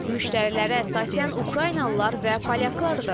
Müştərilər əsasən ukraynalılar və polyaklardır.